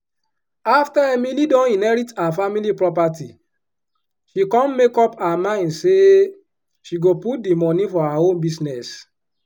afta emily don inherit her family property she come make up her min say she go put di moni for her own business.